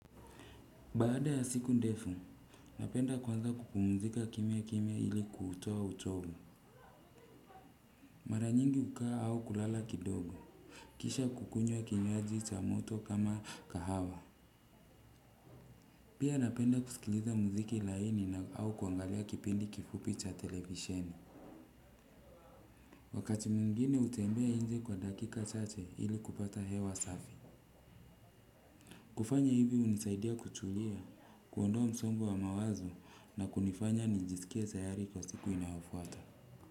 Baada ya siku ndefu napenda kuanza kupumzika kimya kimya ili kuutoa utobu mara nyingi ukaa au kulala kidogo kisha kukunywa kinywaji cha moto kama kahawa pia napenda kusikiliza muziki laini na au kuangalia kipindi kifupi cha televisheni wakati mwingine hutembea nje kwa dakika chache ili kupata hewa safi kufanya hivi unisaidia kutulia kuondoa msongo wa mawazo na kunifanya nijisikia tayari kwa siku inayofuata Muzika.